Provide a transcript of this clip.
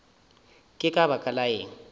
ke ka baka la eng